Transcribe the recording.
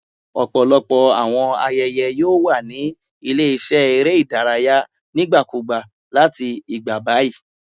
Ọpọlọpọ awọn ayẹyẹ yoo wa ni ile-iṣẹ ere idaraya nigbakugba lati igba bayi